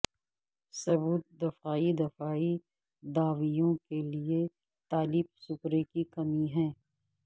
ثبوت دفاعی دفاعی دعویوں کے لئے تالیف سپرے کی کمی ہے